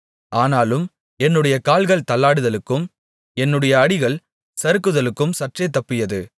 ஆனாலும் என்னுடைய கால்கள் தள்ளாடுதலுக்கும் என்னுடைய அடிகள் சறுக்குதலுக்கும் சற்றே தப்பியது